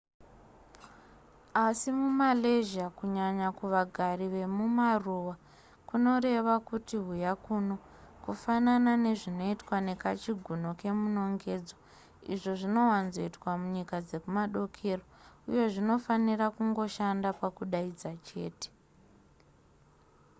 asi mumalaysia kunyanya kuvagari vekumaruwa kunoreva kuti huya kuno kufanana nezvinoitwa nekachigunwe kemunongedzo izvo zvinowanzoitwa munyika dzekumadokero uye zvinofanira kungoshanda pakudaidza chete